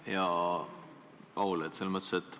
Hea Paul!